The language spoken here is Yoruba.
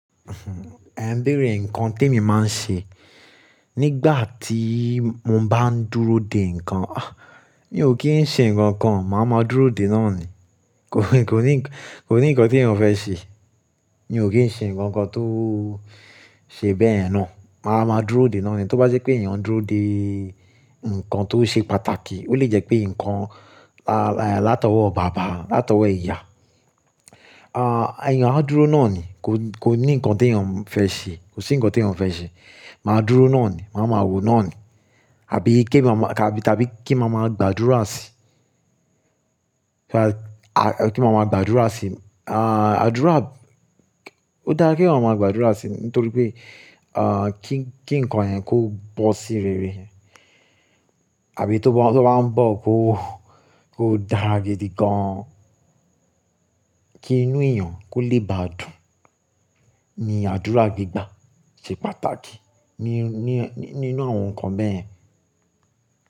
Ẹ̀ ń béèrè ǹkan tí èmi máa ń ṣe nígbà tí mo bá ń dúró dè ǹkan. Ah! Mi ò kí ń ṣe ǹkankan, màá máa dúró dè náà ni. Kò ní, kò ní ǹkan tí èèyàn fẹ́ ṣe. Mi ò kí ń ṣe ǹkankan tó ṣe bẹ́ẹ̀yen náà. Màá máa dúró dè náà ni. Tó bá je pé èèyàn ń dúró dè ǹkan tó ṣe pàtàkì, ó lè jẹ́ pé ǹkan látọwọ́ bàbá, látọwọ́ ìyá, à, àyàn á dúró náà ni. Kò ní ǹkan t'èèyàn fẹ́ ṣe. Kò sí ǹkan tí èèyàn fẹ́ ṣe. Màá dúró náà ni. Màá ma wòó náà ni. Àbí kí ma, àbí, tàbí kí màá gbàdúrà sí i. Kí màá gbàdúrà sí i. À, àdúrà ó dára kí ọmọ gbàdúrà sí i nítorí pé, à, kí ǹkan yẹn kó bọ́ sí rere. Àbí tó bá ń bọ́ kó, kó dára gidi gan-an. Kí inú èèyàn kó le ba dùn ni àdúrà gígbà ṣe pàtàkì ní, ní, ní inú àwọn ǹkan bẹ́ẹ̀.